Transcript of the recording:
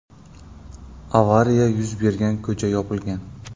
Avariya yuz bergan ko‘cha yopilgan.